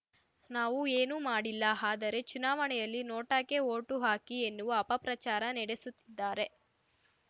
ನಾವೂ ಏನು ಮಾಡಿಲ್ಲ ಆದರೆ ಚುನಾವಣೆಯಲ್ಲಿ ನೋಟಾಕ್ಕೆ ವೋಟು ಹಾಕಿ ಎನ್ನುವ ಅಪಪ್ರಚಾರ ನೆಡೆಸುತ್ತಿದ್ದಾರೆ